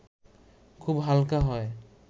খুব হালকা হয়